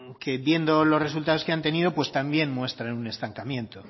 que viendo los resultados que han tenido también muestran un estancamiento